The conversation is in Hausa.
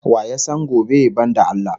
Wa ya san gobe banda Allah?